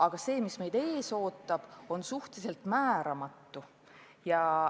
Aga see, mis meid ees ootab, on suhteliselt määramatu.